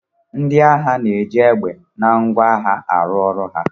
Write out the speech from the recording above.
Ndị agha na-eji égbè na ngwọ agha arụ ọrụ ha